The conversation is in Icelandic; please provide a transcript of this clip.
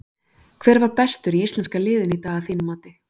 Hver var bestur í íslenska liðinu í dag að þínu mati?